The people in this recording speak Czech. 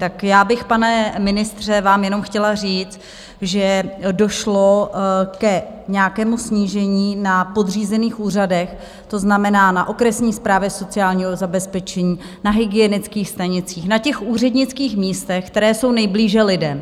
Tak já bych, pane ministře, vám jenom chtěla říct, že došlo k nějakému snížení na podřízených úřadech, to znamená na okresní správě sociálního zabezpečení, na hygienických stanicích, na těch úřednických místech, která jsou nejblíže lidem.